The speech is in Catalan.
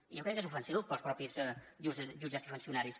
i jo crec que és ofensiu pels mateixos jutges i funcionaris